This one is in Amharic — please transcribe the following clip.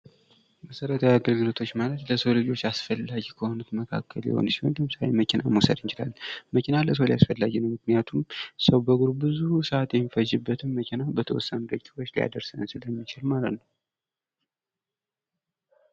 መሰረታዊ አገልግሎቶች ማለት ለሰው ልጆች አስፈላጊ ከሆኑት መካከል አንዱ ሲሆን ለምሳሌ መኪናን መዉሰድ እንችላለን። መኪና ለሰው አስፈላጊ ነው። ምክንያቱም በእግሩ ብዙ ሰአት የሚፈጅበትን መኪና በተወሰነ ሰአት ዉስጥ ሊያደርሰን ስለሚችል ማለት ነው።